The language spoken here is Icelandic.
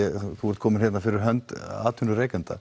ertu kominn hér fyrir hönd atvinnurekenda